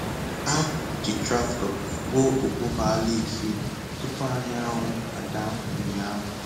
Ha ji traktọ gwuo obogho ala isii tupu anyanwụ ada ụnyahụ.